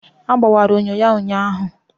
Ọ gbọwara enyo ya ụnyaahụ.